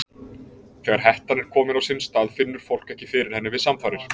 Þegar hettan er komin á sinn stað finnur fólk ekki fyrir henni við samfarir.